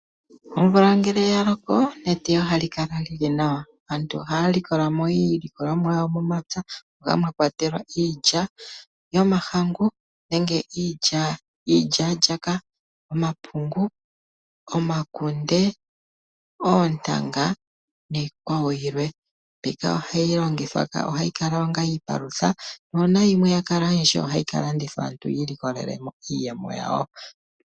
Omvula ngele yaloko eteyo ohalikala lili nawa. Aantu ohaya likola iilikolomwa yawo momapya mwakwatelwa iilya yomahangu nenge iilya wala ,omapungu omakunde, oontanga , niikwawo yilwe . Mbika ohayi kala onga iipalutha nuuna yakala oyindji ohayi kalandithwa aantu yi ilikolelemo iiyemo.